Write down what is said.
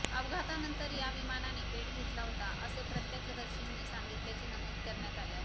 अपघातानंतर या विमानाने पेट घेतला होता असे प्रत्यक्षदर्शींनी सांगितल्याचे नमूद करण्यात आले आहे